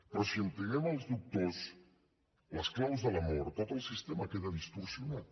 però si entreguem als doctors les claus de la mort tot el sistema queda distorsionat